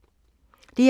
DR2